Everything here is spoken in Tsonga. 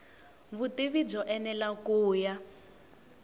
vutivi byo enela ku ya